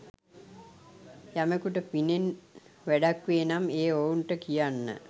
යමෙකුට පිනෙන් වැඩක් වේ නම් එය ඔවුන්ට කියන්න.